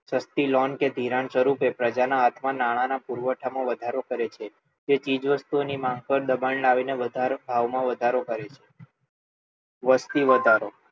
સસ્તી લોન કે ધિરાણ સ્વરૂપે પ્રજાના હાથમાં નાણાંના પુરવઠામાં વધારો કરે છે જે ચીજવસ્તુઓની માંગ પર દબાણ લાવીને ભાવમાં વધારો કરે છે વસ્તી વધારો